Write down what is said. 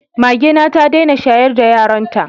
Magena ta dena shayar da yaran ta